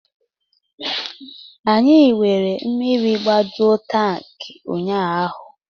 Anyị were mmiri gbajuo tankị ụnyaahụ